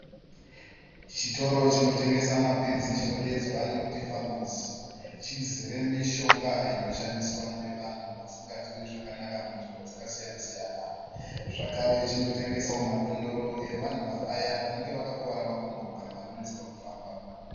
Chitoro , chino tengesa mapiritsi , chinodedzwa nokuti famasi. Chizere mishonga inoshandiswa nevanhu vasinganzwi zvakanaka munzvimbo dzaka siyana , siyana. Zvakare chinotengesa madondoro evanhu vaya vanenge vaka kuvara makumbo kana vano netseka kufamba.